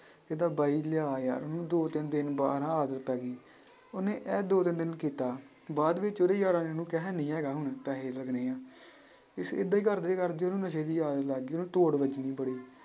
ਕਹਿੰਦਾ ਬਾਈ ਲਿਆ ਯਾਰ ਉਹਨੂੰ ਦੋ ਤਿੰਨ ਦਿਨ ਬਾਅਦ ਨਾ ਆਦਤ ਪੈ ਗਈ, ਉਹਨੇ ਇਹ ਦੋ ਤਿੰਨ ਦਿਨ ਕੀਤਾ, ਬਾਅਦ ਵਿੱਚ ਉਹਦੇ ਯਾਰਾਂ ਨੇ ਉਹਨੂੰ ਕਿਹਾ ਹੈਨੀ ਹੈਗਾ ਹੁਣ ਪੈਸੇ ਲੱਗਣੇ ਆਂ ਇਸ ਏਦਾਂ ਹੀ ਕਰਦੇੇ ਕਰਦੇ ਉਹਨੂੰ ਨਸ਼ੇ ਦੀ ਆਦਤ ਲੱਗ ਗਈ, ਉਹਨੂੰ ਤੋੜ ਲੱਗ ਗਈ ਬੜੀ।